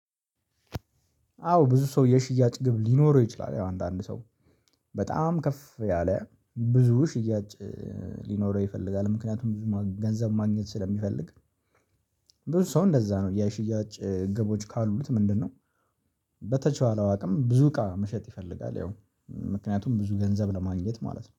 አዎ ብዙ ሰው የሽያጭ ግብ ሊኖረው ይችላል። ያው አንዳንድ ሰው በጣም ከፍ ያለ ብዙ ሽያጭ ሊኖረው ይፈልጋል፣ ምክንያትም ብዙ ገንዘብ ማግኘት ስለሚፈልግ። ብዙ ሰው እንደዛ ነው፣ የሽያጭ ግቦች ካሉት ምንድን ነው? በተቻለው አቅም ብዙ እቃ መሸጥ ይፈልጋል፣ ያው ምክንያትም ብዙ ገንዘብ ለማግኘት ማለት ነው።